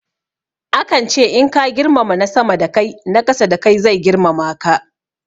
Akan ce in ka girmama na sama da kai na ƙasa da kai zai girmama ka.